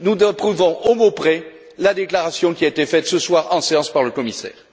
Nous approuvons, au mot près, la déclaration qui a été faite ce soir en séance par le commissaire.